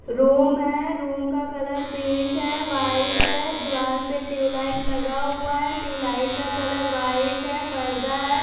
Room है room का colour pink है व्हाइट है दीवाल पे ट्यूबलाइट लगा हुआ है ट्यूबलाइट का कलर व्हाइट है पर्दा है।